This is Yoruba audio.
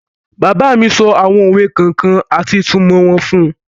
Bàbá mi sọ àwọn òwe kọ̀ọ̀kan àti ìtumọ̀ wọn fún un.